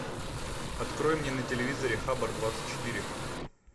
открой мне на телевизоре хабар двадцать четыре